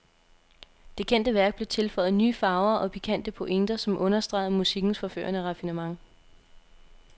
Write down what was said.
Det kendte værk blev tilføjet nye farver og pikante pointer, som understregede musikkens forførende raffinement.